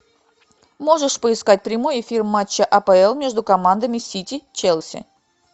можешь поискать прямой эфир матча апл между командами сити челси